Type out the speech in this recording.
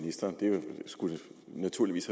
ministeren det skulle naturligvis